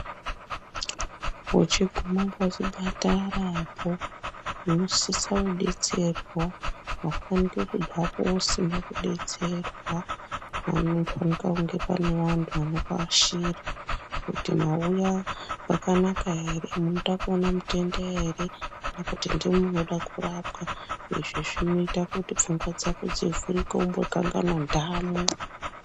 Uchigume pachipatarapo unosise kudetserwa aufaniki kubvapo usina kudetserwa panofanika kunge pane vannhu vanokuashira kuti mauya kwakanak aere munoda kuona mutenda ere nokuti ndimwi munoda kurapwa izvi zvinoita kuti pfungwa dzako dzivhurike umbokanganwe nhamo.